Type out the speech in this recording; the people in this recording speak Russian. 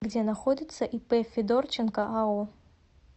где находится ип федорченко ао